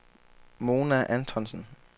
Mona Antonsen